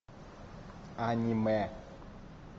аниме